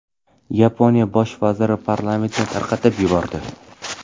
Yaponiya bosh vaziri parlamentni tarqatib yubordi.